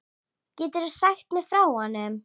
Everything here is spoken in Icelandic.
Geturðu sagt mér frá honum?